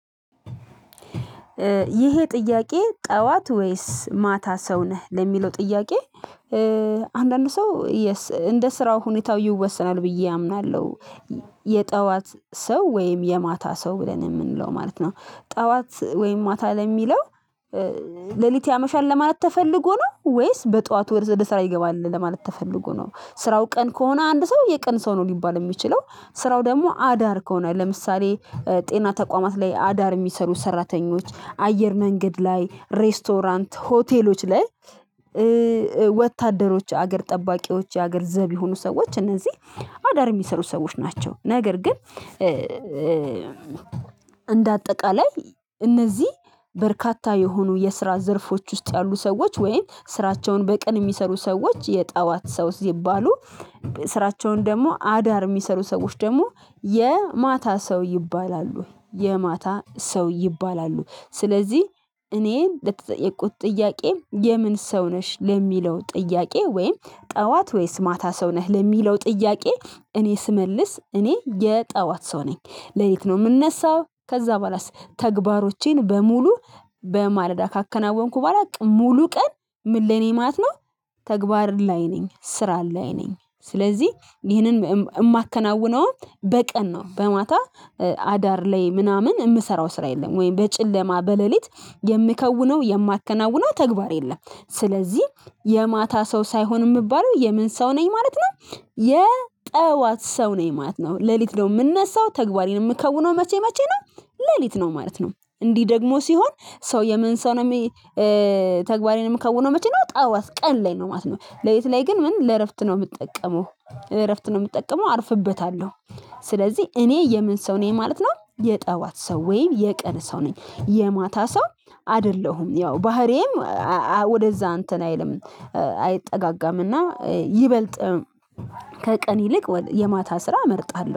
ይሄ ጥያቄ ጠዋት ወይስ ማታ ሰው ነህ ለሚለው ጥያቄ? አንዳንዱ ሰው እንደ ስራው ሁኔታው ይወሰናል ብዬ አምናለሁ። የጠዋት ሰው ወይም የማታ ሰው ብለን የምንለው ማለት ነው። ጠዋት ወይም ማታ ለሚለው? ሌሊት ያመሻል ለማለት ተፈልጎ ነው ወይስ በጧት ወደ ስራ ይገባል ለማለት ተፈልጎ ነው ስራው ቀን ከሆነ አንድ ሰው የቀን ሰው ነው ሊባል የሚችለው። ስራው ደግሞ አዳር ከሆነ ለምሳሌ ጤና ተቋማት ላይ አዳር የሚሰሩ ሰራተኞች አየር መንገድ ላይ ሬስቶራንት ሆቴሎች ላይ። ወታደሮች ሀገር ጠባቂዎች የሀገር ዘብ የሆኑ ሰዎች እነዚህ አዳር የሚሰሩ ሰዎች ናቸው። ነገር ግን። እንደ አጠቃላይ እነዚህ በርካታ የሆኑ የስራ ዘርፎች ውስጥ ያሉ ሰዎች ወይም ስራቸውን በቀን የሚሰሩ ሰዎች የጠዋት ሰው ሲባሉ። ስራቸውን ደግሞ አዳር እሚሰሩ ሰዎች ደግሞ የማታ ሰው ይባላሉ የማታ ሰው ይባላሉ። ስለዚህ እኔ በተጠየቁት ጥያቄም የምን ሰው ነሽ ለሚለው ጥያቄ ወይም ጠዋት ወይስ ማታ ሰው ነህ ለሚለው ጥያቄ? እኔ ስመልስ እኔ የጠዋት ሰው ነኝ። ለሊት ነው ምነሳው ከዛ በኋላስ? ተግባሮቼን በሙሉ በማለዳ ካከናወንኩ በኋላ ሙሉ ቀን ምን ለኔ ማለት ነው? ተግባር ላይ ነኝ ስራ ላይ ነኝ። ስለዚህ ይህንን እማከናውነውን በቀን ነው በማታ አዳር ላይ ምናምን እምሰራው ስራ የለም ወይም በጨለማ በሌሊት የምከውነው የማከናውነው ተግባር የለም። ስለዚህ የማታ ሰው ሳይሆን እምባለው የምን ሰው ነኝ ማለት ነው። የጠዋት ሰው ነኝ ማለት ነው ሌሊት ነው ምነሳው ተግባሬን የምከውነው መቼ መቼ ነው? ሌሊት ነው ማለት ነው። እንዲህ ደግሞ ሲሆን ሰው የምን ሰው ነው የሚ። ተግባሬን ምከውነው መቼ ነው? ጠዋት ቀን ላይ ነው ማለት ነው። ሌሊት ላይ ግን ምን ለእረፍት ነው የምጠቀመው እረፍት ነው የምጠቀመው አርፍበታለሁ። ስለዚህ እኔ የምን ሰው ነኝ ማለት ነው። የጠዋት ሰው ወይ የቀን ሰው ነኝ የማታ ሰው? አደለሁም ያው ባህሪዬም ወደዛ እንተን አይልም። አይጠጋጋም እና ይበልጥ ከቀን ይልቅ የማታ ስራ እመርጣለሁ